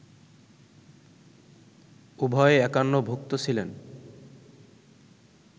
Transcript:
উভয়ে একান্নভুক্ত ছিলেন